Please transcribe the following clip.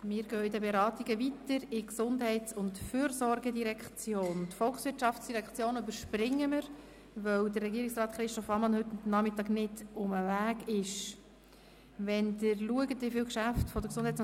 Wir gehen weiter zur GEF und überspringen also die VOL, weil Regierungsrat Ammann heute Nachmittag nicht anwesend sein kann.